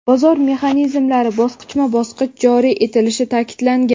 bozor mexanizmlari bosqichma-bosqich joriy etilishi ta’kidlangan.